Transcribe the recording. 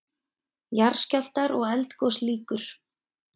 JARÐSKJÁLFTAR OG ELDGOS LÝKUR